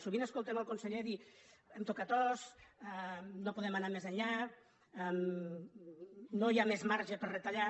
sovint escoltem el conseller dir hem tocat os no podem anar més enllà no hi ha més marge per retallar